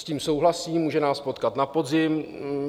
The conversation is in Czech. S tím souhlasím, může nás potkat na podzim.